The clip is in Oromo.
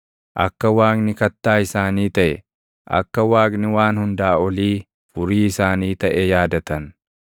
Akka Waaqni Kattaa isaanii taʼe, akka Waaqni Waan Hundaa Olii Furii isaanii taʼe yaadatan.